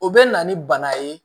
O bɛ na ni bana ye